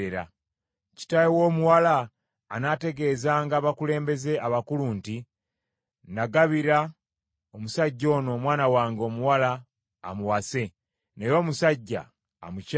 Kitaawe w’omuwala anaategeezanga abakulembeze abakulu nti, “Nagabira omusajja ono omwana wange omuwala amuwase, naye omusajja amukyaye.